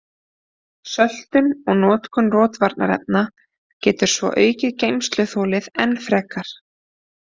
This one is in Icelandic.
Söltun og notkun rotvarnarefna getur svo aukið geymsluþolið enn frekar.